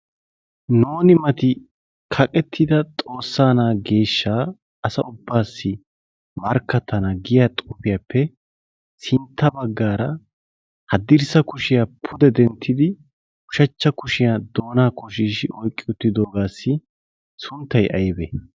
nuuni mati kaqettida xoossaa na'a geeshsha asa ubbaassi markkattana giya xoufiyaappe sintta baggaara haddirssa kushiyaa pude denttidi ushachcha kushiyaa doonaa koshiishi oiqqi uttidoogaassi sunttai aybe?